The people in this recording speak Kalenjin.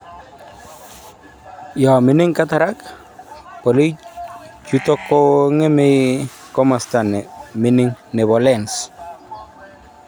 Yo mining cataract, bolik chutok kong'eme komosta nemininging nebo lens